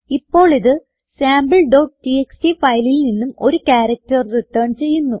ഇപ്പോളിത് sampleടിഎക്സ്ടി ഫയലിൽ നിന്നും ഒരു ക്യാരക്റ്റർ റിട്ടേൺ ചെയ്യുന്നു